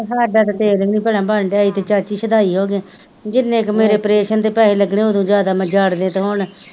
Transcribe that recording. ਆ ਸਾਡਾ ਤਾਂ ਭਾਈ ਤੇਲ ਵੀ ਨਹੀਂ ਭਲਾ ਬਲਨਡੀਆ ਅਸੀਂ ਤਾਂ ਚਾਚੀ ਸ਼ੁਦਾਈ ਹੋ ਗਏ, ਜੀਨੇ ਕ ਮੇਰੇ ਪ੍ਰੇਸ਼ਨ ਤੇ ਪੈਸੇ ਲੱਗਣੇ ਉੱਤੋਂ ਜਾਦਾ ਮੈ ਜਾੜਨੇਤ ਹੋਣਾ,